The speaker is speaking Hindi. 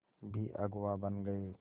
भी अगुवा बन गए